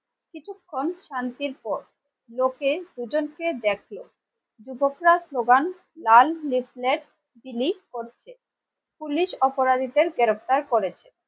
কিছুক্ষণ শান্তির পর লোকে দুজনকে দেখে যুবকরা স্লোগান লাল রিফ্লেড বিলি করছে পুলিশ অপরাধীদের গ্রেপ্তার করেছে।